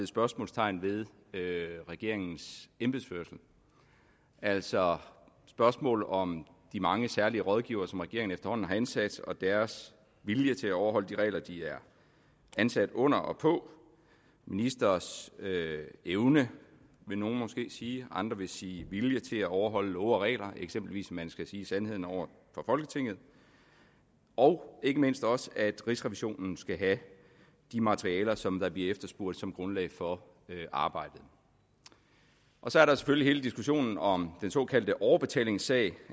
spørgsmålstegn ved regeringens embedsførelse altså spørgsmål om de mange særlige rådgivere som regeringen efterhånden har ansat og deres vilje til at overholde de regler de er ansat under og på ministres evne vil nogle måske sige andre vil sige vilje til at overholde love og regler eksempelvis at man skal sige sandheden over for folketinget og ikke mindst også at rigsrevisionen skal have de materialer som der bliver efterspurgt som grundlag for arbejdet så er der selvfølgelig hele diskussionen om den såkaldte overbetalingssag